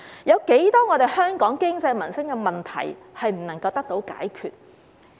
有多少香港的經濟民生問題無法得到解決呢？